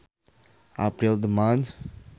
April the month